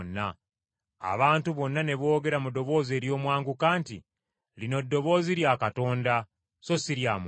Abantu bonna ne boogera mu ddoboozi ery’omwanguka nti, “Lino ddoboozi lya Katonda so si lya muntu!”